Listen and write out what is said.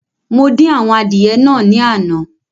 Mo dín àwọn adìẹ naa ní àná